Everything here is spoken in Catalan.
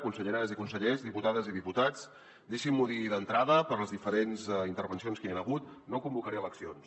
conselleres i consellers diputades i diputats deixin m’ho dir d’entrada per les diferents intervencions que hi han hagut no convocaré eleccions